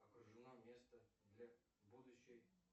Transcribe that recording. окружено место для будущей